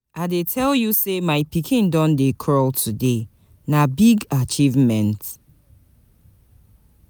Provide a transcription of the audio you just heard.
I dey tell you sey my pikin don crawl today, na big achievement!